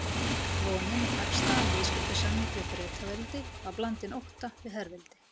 Vonin um hagstæðan viðskiptasamning við Bretaveldi var blandin ótta við herveldi